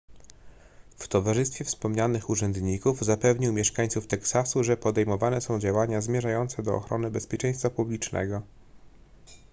w towarzystwie wspomnianych urzędników zapewnił mieszańców teksasu że podejmowane są działania zmierzające do ochrony bezpieczeństwa publicznego